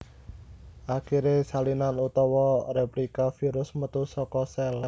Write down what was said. Akiré salinan utawané réplika virus metu saka sèl